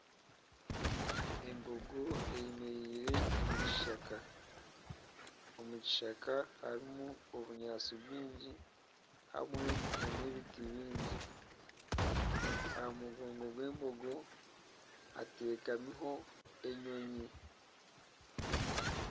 Embogo eyemereire omu kishaka, omu kishaka harimu obunyaatsi bwingi hamwe n'ebiti bingi. Aha mugongo gw'embogo hateekamiho enyonyi.